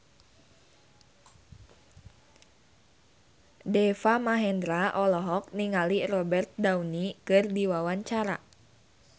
Deva Mahendra olohok ningali Robert Downey keur diwawancara